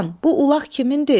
Xan, bu ulaq kimindir?